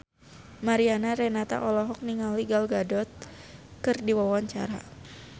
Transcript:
Mariana Renata olohok ningali Gal Gadot keur diwawancara